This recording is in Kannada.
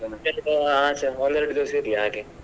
ಒಂದ್ ಎರಡ್ ದಿವ್ಸ ಇರ್ಲಿ ಹಾಗೆ.